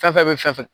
Fɛn fɛn bɛ fɛn fɛn